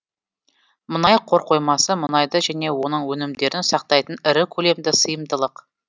мұнай қорқоймасы мұнайды және оның өнімдерін сақтайтын ірі көлемді сыйымдылық